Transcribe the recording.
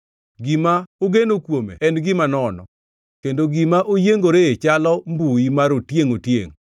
Gima ogeno kuome en gima nono; kendo gima oyiengoree chalo mbui mar otiengʼ-otiengʼ.